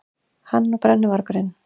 Hann og brennuvargurinn.